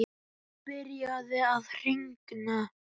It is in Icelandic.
Nú byrjaði að rigna.